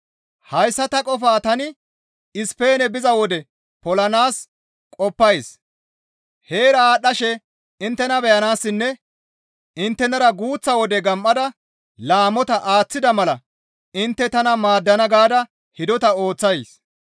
Hayssa ta qofaa tani Ispeene biza wode polanaas qoppays; heera aadhdhashe inttena beyanaassinne inttenara guuththa wode gam7ada laamota aaththida mala intte tana maaddana gaada hidota ooththays.